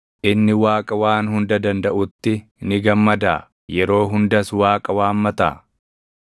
Inni Waaqa Waan Hunda Dandaʼutti ni gammadaa? Yeroo hundas Waaqa waammataa?